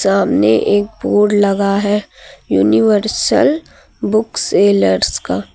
सामने एक बोर्ड लगा है यूनिवर्सल बुक सेलर्स का।